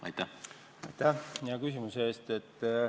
Aitäh hea küsimuse eest!